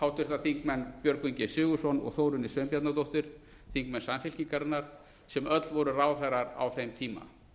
og háttvirtir þingmenn björgvin g sigurðsson og þórunni sveinbjarnardóttur þingmenn samfylkingarinnar sem öll voru ráðherrar á þeim tíma